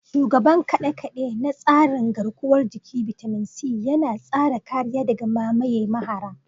Shugaban kade-kade na tsarin garkuwar jiki, bitamin C, yana tsara kariya daga mamaye mahara.